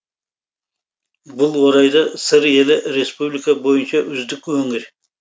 бұл орайда сыр елі республика бойынша үздік өңір